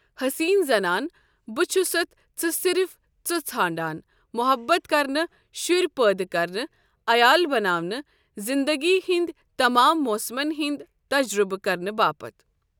حٔسیٖن زنان بہٕ چھُستھ ژٕ صرف ژٕ ژھانٛڑان محبَت کرنہٕ، شُرۍ پٲدٕ کرنہٕ، عیال بناونہٕ، زِنٛدٕگی ہٕنٛدۍ تمام موسمَن ہُنٛد تجرُبہٕ کرنہٕ باپتھ۔